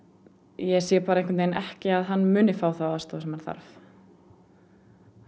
ég sé bara ekki einhvern veginn ekki að hann muni fá þá aðstoð sem hann þarf